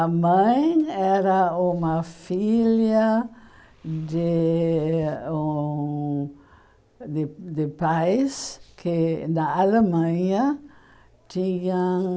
A mãe era uma filha de um de de pais que, na Alemanha, tinham